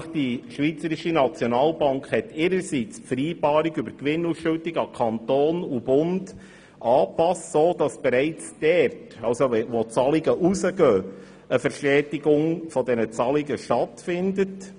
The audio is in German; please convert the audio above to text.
Die Schweizerische Nationalbank hat ihrerseits die Vereinbarung über die Gewinnausschüttung an Kanton und Bund so angepasst, dass eine Verstetigung der Zahlungen stattfindet.